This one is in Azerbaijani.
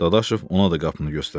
Dadaşov ona da qapını göstərtdi.